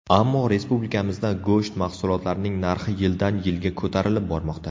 Ammo respublikamizda go‘sht mahsulotlarining narxi yildan-yilga ko‘tarilib bormoqda.